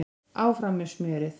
Áfram með smjörið